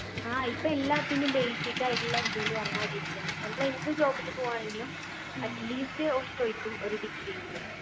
ആ ഇപ്പൊ എല്ലാത്തിൻ്റെയും basic ആയിട്ടുള്ള ഇത്ന്ന് പറഞ്ഞാ degree ആണ് അമ്മള് എന്ത് job നു പോവ്വാന്നെങ്കിലും at least ഓല് ചോയ്ക്കും ഒരു degree എങ്കിലും